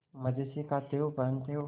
मजे से खाते हो पहनते हो